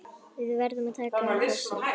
Við verðum að taka þessu.